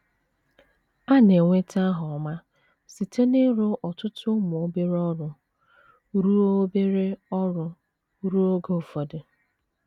A na - enweta aha ọma site n’ịrụ ọtụtụ ụmụ obere ọrụ ruo obere ọrụ ruo oge ụfọdụ.